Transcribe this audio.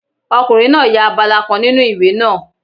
Ọkùnrin náà ya abala kan nínu ìwé náà